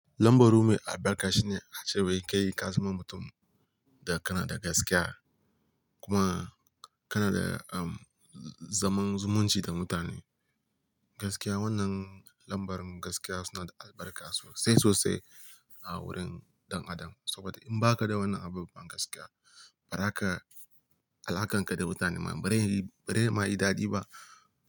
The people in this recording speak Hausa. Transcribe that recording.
Lambar ruwa mai albarka shine a ce wa'i kai ka zama mutum da kana da gaskiya kuma kana da, um, zaman zumunci da mutane. Gaskiya wannan lambar gaskiya suna da albarka sosai sosai a wurin dan Adam. Saboda in baka da wannan abubuwan gaskiya, bara ka, alaƙarka da mutane ma bari, bari ma yi dadi ba.